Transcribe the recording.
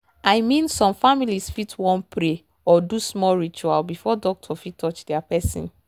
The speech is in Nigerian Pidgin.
i mean some families fit wan pray or do small ritual before doctor touch their person.